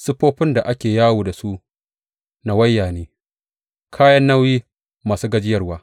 Siffofin da ake yawo da su nawaya ne, kayan nauyi masu gajiyarwa.